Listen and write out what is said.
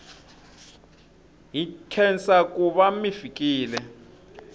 hi nkhensa kuva mifikile